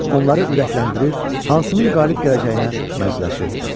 Onları ürəkləndirir, hansının qalib gələcəyinə mərcələşirdilər.